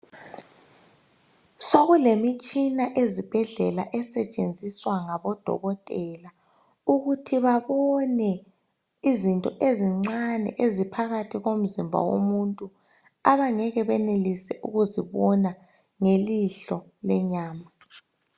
So kulemitshina ezibhedlela esetshenziswa ngodokotela ukuthi babone izinto ezincane eziphakathi komzimba womuntu abangeke benelise ukuzibona ngelihlo lenyama.